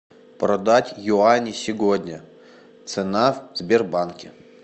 продать юани сегодня цена в сбербанке